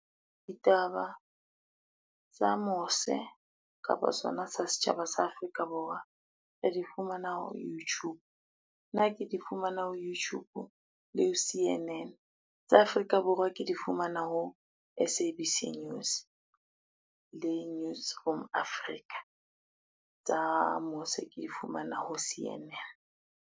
Ditaba tsa mose kapa sona sa setjhaba sa Afrika Borwa, re di fumana ho Youtube. Nna ke di fumana ho Youtube le ho C_N_N. Tsa Afrika Borwa ke di fumana ho S_A_B_C news le Newsroom Africa tsa mose ke di fumana ho C_N_N.